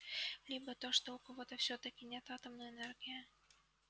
либо то что у кого-то всё-таки нет атомной энергии